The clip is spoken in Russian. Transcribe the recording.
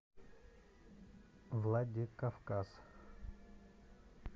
владикавказ